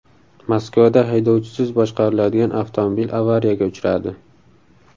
Moskvada haydovchisiz boshqariladigan avtomobil avariyaga uchradi.